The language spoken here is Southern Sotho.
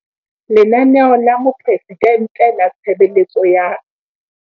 Lenaneo la Moporesidente la Tshebeletso ya.